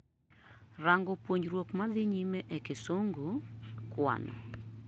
rango puonjruok madhii nyime e kisungu, kwano